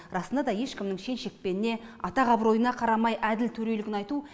расында да ешкімнің шен шекпеніне атақ абыройына қарамай әділ төрелігін айту